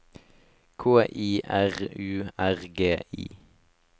K I R U R G I